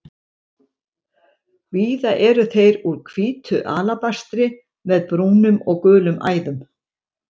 Víða eru þeir úr hvítu alabastri með brúnum og gulum æðum.